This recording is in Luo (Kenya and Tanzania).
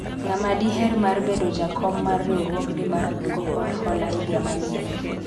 ng'ama diher mar bedo jakom mar riwruogni mar kungo kod hola higa manyien